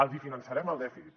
els finançarem el dèficit